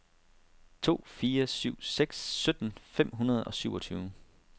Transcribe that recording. to fire syv seks sytten fem hundrede og syvogtyve